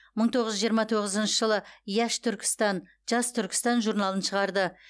мың тоғыз жүз жиырма тоғызыншы жылы яш түркістан жас түркістан журналын шығарды